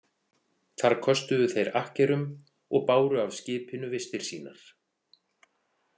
Þar köstuðu þeir akkerum og báru af skipinu vistir sínar.